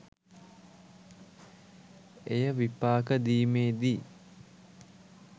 එය විපාක දීමේ දී